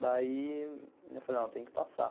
Daí, eu falei, não, tem que passar.